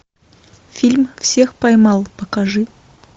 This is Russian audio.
фильм всех поймал покажи